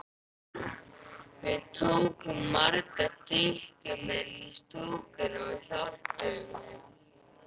Við tókum marga drykkjumenn í stúkuna og hjálpuðum þeim.